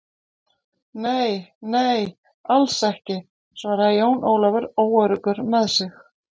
Nei, nei, alls ekki, svaraði Jón Ólafur óöruggur með sig.